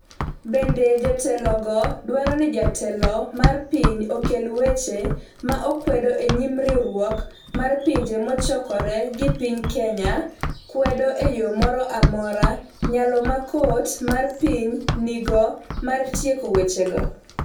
Bende jotelogo dwaro ni jatelo mar pinyno okel weche ma okwedo e nyim Riwruok mar Pinje Mochokore ni piny Kenya kwedo e yo moro amora nyalo ma kot mar piny nigo mar tieko wechego